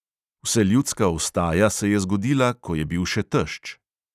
Vseljudska vstaja se je zgodila, ko je bil še tešč.